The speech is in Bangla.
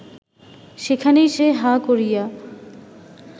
সেখানেই সে হাঁ করিয়া